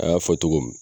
An y'a fɔ togo min